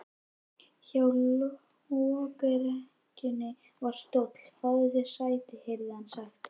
Hjá lokrekkjunni var stóll: Fáðu þér sæti, heyrði hann sagt.